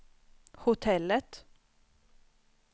hotellet